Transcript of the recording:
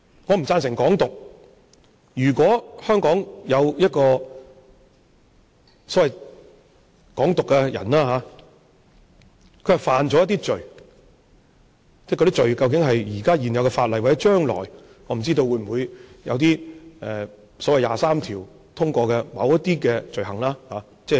我不贊成"港獨"，如果香港有一個所謂"港獨"人士，他犯了某些罪，而這些罪或者關乎現有法例，或者將來的某些罪行，我不知道，例如所謂"二十三條"通過後的罪行。